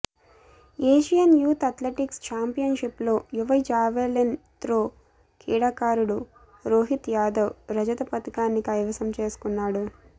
Asian youth athletics చాంపియన్ షిప్లో యువ జావెలిన్ త్రో క్రీడాకారుడు రోహిత్ యాదవ్ రజత పతకాన్ని కైవసం చేసుకున్నాడు